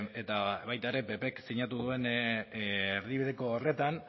eta baita ere ppk sinatu duen erdibideko horretan